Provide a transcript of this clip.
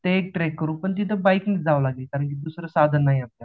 ते एक ट्रेक करू पण तिथे बाईक ने जावं लागेल कारण दुसरं साधन नाही हे आपल्याकडे